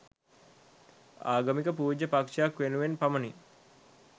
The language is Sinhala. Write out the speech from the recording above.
ආගමක පූජ්‍ය පක්ෂයක් වෙනුවෙන් පමණි.